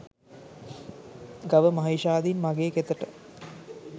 ගව මහීෂාදීන් මගේ කෙතට